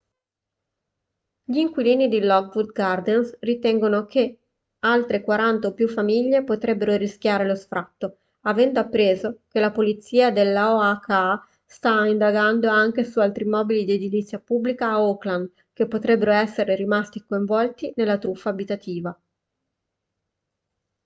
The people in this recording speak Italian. gli inquilini di lockwood gardens ritengono che altre 40 o più famiglie potrebbero rischiare lo sfratto avendo appreso che la polizia dell'oha sta indagando anche su altri immobili di edilizia pubblica a oakland che potrebbero essere rimasti coinvolti nella truffa abitativa